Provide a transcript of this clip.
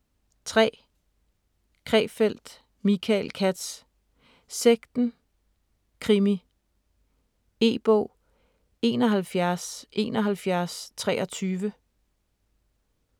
3. Krefeld, Michael Katz: Sekten: krimi E-bog 717123